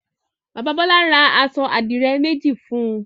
Bàbá Bọ́lá ra aṣọ àdìrẹ́ méjì fún un.